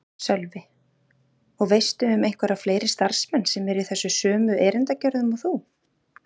Sölvi: Og veistu um einhverja fleiri starfsmenn sem eru í þessu sömu erindagjörðum og þú?